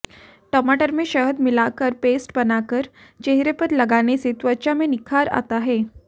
टमाटर में शहद मिलाकर पेस्ट बनाकर चेहरे पर लगाने से त्वचा में निखार आता है